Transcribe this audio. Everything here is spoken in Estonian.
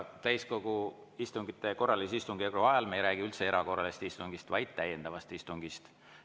Täiskogu korralise istungjärgu ajal me ei räägi üldse erakorralisest istungist, vaid täiendavast istungist.